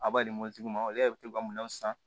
A b'a di mobilitigi ma olu yɛrɛ bɛ to ka minɛnw san